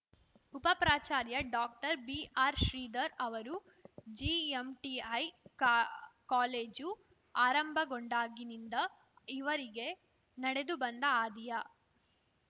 ಉಪ ಪ್ರಾಚಾರ್ಯ ಡಾಕ್ಟರ್ಬಿಆರ್‌ಶ್ರೀಧರ್‌ ಅವರು ಜಿಎಂಟಿಐ ಕಾ ಕಾಲೇಜು ಆರಂಭಗೊಂಡಾಗಿನಿಂದ ಈವರೆಗೆ ನಡೆದು ಬಂದ ಹಾದಿಯ